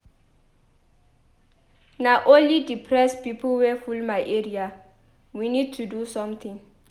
She no wan chop. Next thing she talk be say she dey depressed.